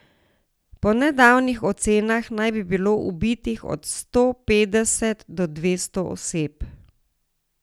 Po nekaterih ocenah naj bi bilo ubitih od sto petdeset do dvesto oseb.